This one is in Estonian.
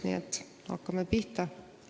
Nii et hakkame pihta.